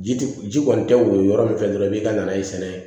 Ji ti ji kɔni tɛ woyo yɔrɔ min fɛ dɔrɔn i b'i ka nana ye sɛnɛ